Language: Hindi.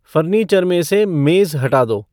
फ़र्नीचर में से मेज़ हटा दो